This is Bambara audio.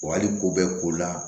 Wa hali ko bɛɛ ko la